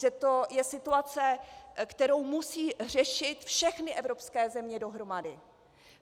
Že to je situace, kterou musí řešit všechny evropské země dohromady.